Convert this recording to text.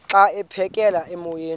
xa aphekela emoyeni